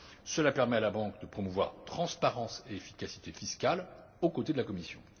Cela permet à la banque de promouvoir la transparence et l'efficacité fiscale aux côtés de la Commission.